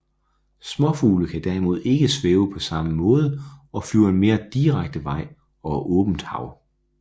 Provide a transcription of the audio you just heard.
Småfugle kan derimod ikke svæve på samme måde og flyver en mere direkte vej over åbent hav